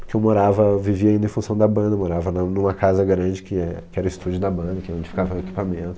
Porque eu morava, vivia ainda em função da banda, morava na numa casa grande que é que era o estúdio da banda, que é onde ficava o equipamento.